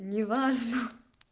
неважно